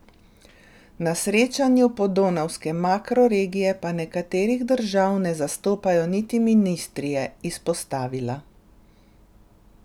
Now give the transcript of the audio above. Na srečanju Podonavske makroregije pa nekaterih držav ne zastopajo niti ministri, je izpostavila.